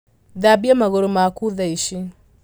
Thambia magūrū maku thaici.